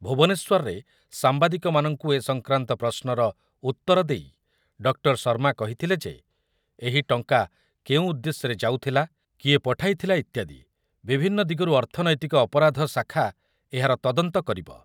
ଭୁବନେଶ୍ୱରରେ ସାମ୍ବାଦିକମାନଙ୍କୁ ଏ ସଂକ୍ରାନ୍ତ ପ୍ରଶ୍ନର ଉତ୍ତର ଦେଇ ଡକ୍ଟର ଶର୍ମା କହିଥିଲେ ଯେ ଏହି ଟଙ୍କା କେଉଁ ଉଦ୍ଦେଶ୍ୟରେ ଯାଉଥିଲା, କିଏ ପଠାଇଥିଲା ଇତ୍ୟାଦି ବିଭିନ୍ନ ଦିଗରୁ ଅର୍ଥନୈତିକ ଅପରାଧ ଶାଖା ଏହାର ତଦନ୍ତ କରିବ।